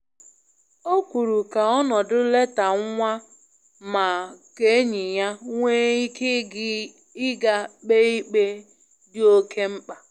O kwuru ka onodi leta nwa ma ka enyi ya nwee ike ịga kpe ikpe dị oke mkpa.